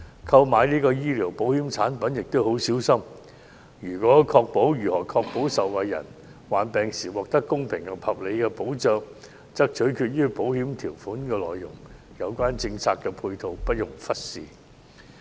購買醫療保險產品亦要很小心，如何確保受保人患病時獲得公平及合理的保障取決於保險條款的內容，故有關政策配套不容忽視。